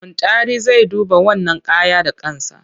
Muntari zai duba wannan kaya da kansa.